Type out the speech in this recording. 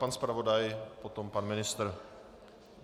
Pan zpravodaj, potom pan ministr.